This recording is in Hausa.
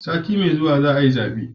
Sati mai zuwa za a yi zabe